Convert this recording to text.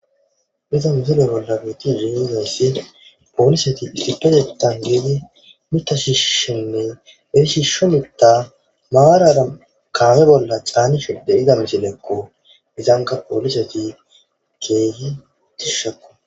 Haysa misile bolla betizaysi poliseti issippetethan diidi mitha shishishenne he shisho mitha maarara kame bolla canishe de'iza misileko.